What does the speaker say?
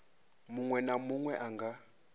munwe na munwe a nga